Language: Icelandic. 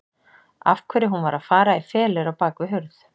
Af hverju hún var að fara í felur á bak við hurð.